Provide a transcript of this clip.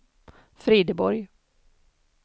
Frideborg